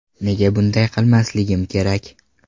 Nega bunday qilmasligimiz kerak?